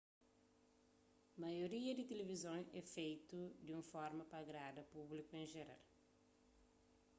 maioria di tilivizon é fetu di un forma pa agrada públiku en jeral